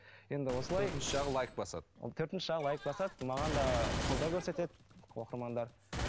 енді осылай төртінші жағы лайк басады төртінші жағы лайк басады маған да қолдау көрсетеді оқырмандар